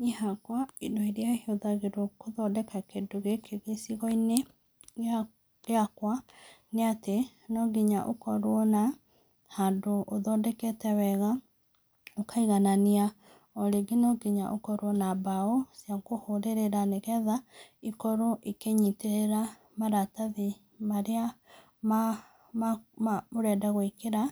Niĩ hakwa indo irĩa ihũthagĩrwo gũthondeka kĩndũ gĩkĩ gĩcigo-inĩ gĩa gĩakwa, nĩ atĩ, no nginya ũkorwo na handũ ũthondekete wega ũkaiganania, o rĩngĩ no nginya ũkorwo na mbaũ cia kũhũrĩrĩra nĩgetha ikorwo ikĩnyitĩrĩra maratathi marĩa, marĩa ũrenda gwĩkĩra